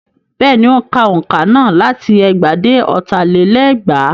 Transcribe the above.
Bẹ́ẹ̀ni, ó ń ka òǹkà náà láti ẹgbàá dé ọ̀tà lé lẹ́gbàá.